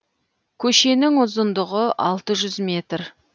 көшенін ұзындығы алты жүз метр